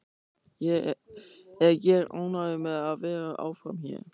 Er ég ánægður með að vera áfram hér?